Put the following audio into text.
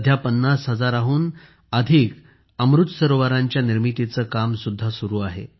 50 हजाराहून अधिक अमृत सरोवरांच्या निर्मितीचे काम सुद्धा सुरु आहे